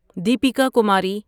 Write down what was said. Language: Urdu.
دیپیکا کماری